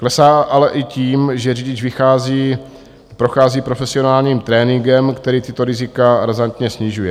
Klesá ale i tím, že řidič prochází profesionálním tréninkem, který tato rizika razantně snižuje.